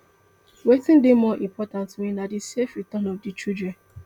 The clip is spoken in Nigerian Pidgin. wetin dey more important to me na di safe return of di children